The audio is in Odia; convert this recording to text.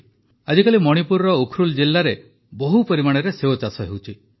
ଆଜିକାଲି ମଣିପୁରର ଉଖରୁଲ୍ ଜିଲାରେ ବହୁ ପରିମାଣରେ ସେଓ ଚାଷ ହେଉଛି